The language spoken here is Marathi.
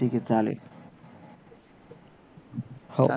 ठीक आहे ठीक आहे चालेल हो